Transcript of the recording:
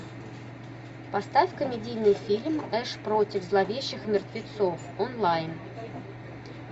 поставь комедийный фильм эш против зловещих мертвецов онлайн